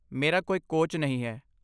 ਮੇਰਾ ਕੋਈ ਕੋਚ ਨਹੀਂ ਹੈ